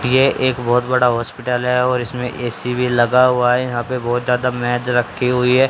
यह एक बहुत बड़ा हॉस्पिटल है और इसमें ए_सी भी लगा हुआ है यहां पे बहुत ज्यादा मेज रखी हुई है।